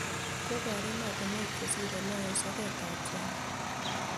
Kobor emotunuek chesire lo eng soket ab China